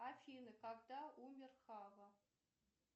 афина когда умер хава